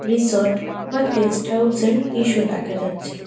Resort বা guest house -এর দৃশ্য দেখা যাচ্ছে।